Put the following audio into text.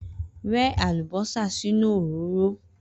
Rẹ́ àlùbọ́sà sínú òróró!